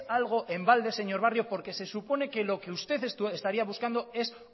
algo en balde señor barrio porque se supone que lo que usted estaría buscando es